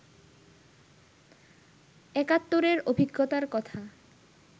একাত্তরের অভিজ্ঞতার কথা